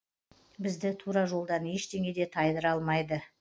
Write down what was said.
бізді тура жолдан ештеңе де тайдыра алмайды